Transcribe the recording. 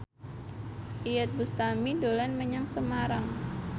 Iyeth Bustami dolan menyang Semarang